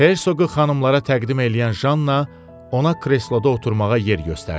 Herseqi xanımlara təqdim eləyən Janna ona kresloda oturmağa yer göstərdi.